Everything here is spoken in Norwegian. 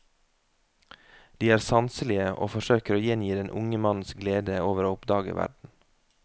De er sanselige og forsøker å gjengi den unge mannens glede over å oppdage verden.